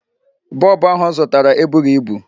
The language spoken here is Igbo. Bulb ahụ ọ zụtara ebughị ibu.